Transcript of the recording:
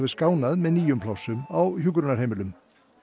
skánað með nýjum plássum á hjúkrunarheimilum